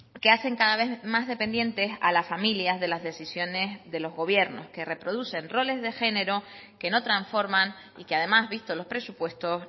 que hacen cada vez más dependientes a las familias de las decisiones de los gobiernos que reproducen roles de género que no transforman y que además visto los presupuestos